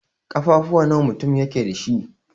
Ƙafafuwa nawa mutum yake dash?